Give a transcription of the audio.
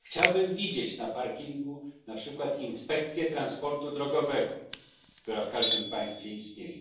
Chciałbym widzieć na parkingu na przykład inspekcję transportu drogowego, która w każdym państwie istnieje.